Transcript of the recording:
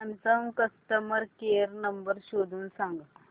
Samsung customer care number शोधून सांग